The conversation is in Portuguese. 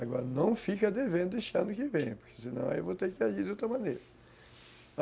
Agora, não fica devendo deste ano que vem, porque senão eu vou ter que agir de outra maneira.